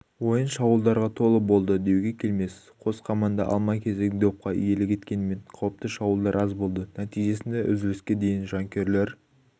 ойын шабуылдарға толы болды деуге келмес қос команда алма кезек допқа иелік еткенімен қауіпті шабуылдар аз болды нәтижесінде үзіліске дейін жанкүйерлер